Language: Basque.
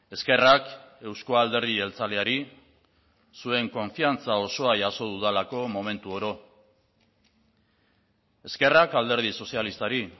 eskerrak euzko alderdi jeltzaleari zuen konfiantza osoa jaso dudalako momentu oro eskerrak alderdi sozialistari